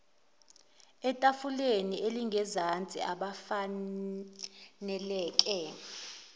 etafuleni elingezansi abafaneleke